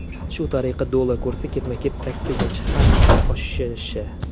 Shu tariqa, dollar kursi ketma-ket sakkizinchi hafta oshishi.